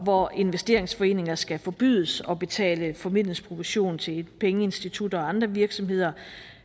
hvor investeringsforeninger skal forbydes at betale formidlingsprovision til et pengeinstitut og andre virksomheder